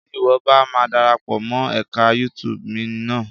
Tí ìwọ bá ma darapọ̀ mọ́ ẹka YouTube mi ná.